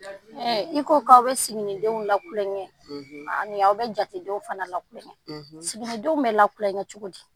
I ko k'aw bɛ siginindenw la kulonkɛ ani aw bɛ jatedenw fana lakuma, sigidenw bɛ lakulonkɛ cogo di